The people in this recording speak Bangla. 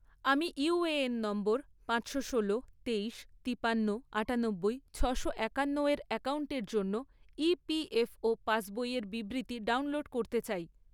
আমি ইউএএন নম্বর পাঁচশো ষোলো, তেইশ, তিপান্ন, আঠানব্বই, ছশো একান্ন এর অ্যাকাউন্টের জন্য ইপিএফও পাসবইয়ের বিবৃতি ডাউনলোড করতে চাই